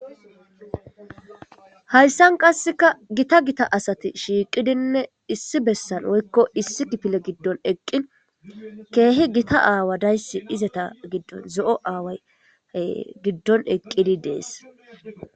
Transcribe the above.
Hayssan qasseka gita gita asati shiiqidinne issi bessan woykko issi gipile giddon eqqin keehi gita aawa dayssi izeta giddon zo7o aaway giddon eqqidi dees.